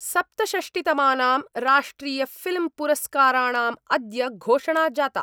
सप्तषष्टितमानाम् राष्ट्रियफिल्म्पुरस्काराणाम् अद्य घोषणा जाता।